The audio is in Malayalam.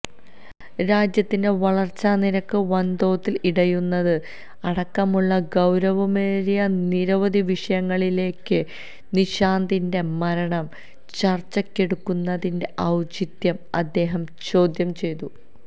രാജ്യത്തിന്റെ വളര്ച്ചാനിരക്ക് വന്തോതില് ഇടിയുന്നത് അടക്കമുള്ള ഗൌരവമേറിയ നിരവധി വിഷയങ്ങളിരിക്കെ സുശാന്തിന്റെ മരണം ചര്ച്ചയ്ക്കെടുക്കുന്നതിന്റെ ഔചിത്യം അദ്ദേഹം ചോദ്യം ചെയ്തു